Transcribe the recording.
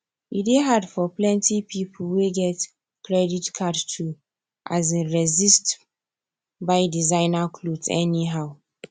e dey hard for plenty people wey get credit card to um resist buy designer cloth anyhow